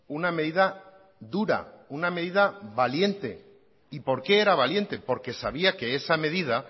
una medida dura una medida valiente y por qué era valiente porque sabía que esa medida